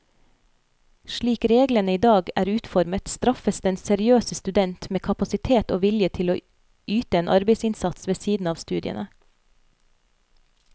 Slik reglene i dag er utformet, straffes den seriøse student med kapasitet og vilje til å yte en arbeidsinnsats ved siden av studiene.